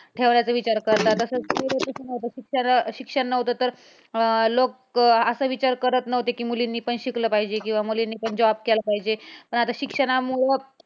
ठेवण्याचा विचार करतात, तसच कि शिक्षण नव्हतं तर लोक असं विचार करत नव्हते कि मुलींनी पण शिकले पाहिजे किंवा मुलींनी पण job केला पाहिजे पण आता शिक्षणामुळं